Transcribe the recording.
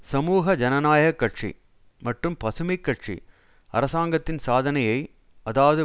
சமூக ஜனநாயக கட்சி மற்றும் பசுமை கட்சி அரசாங்கத்தின் சாதனையை அதாவது